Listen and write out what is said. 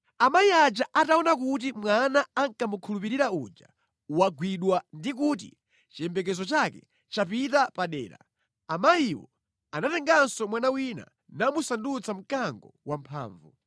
“ ‘Amayi aja ataona kuti mwana ankamukhulupirira uja wagwidwa ndi kuti chiyembekezo chake chapita padera, amayiwo anatenganso mwana wina namusandutsa mkango wamphamvu.